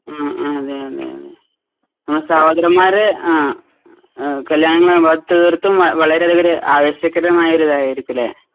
ഉം ഉം അതേയതേയതേ ആ സഹോദരന്മാർടെ ആ ഏഹ് കല്യാണങ്ങളാകുമ്പോ അത് തീർത്തും അ വളരതകരെ ആവേശകരമായൊരിതായിരിക്കുംല്ലേ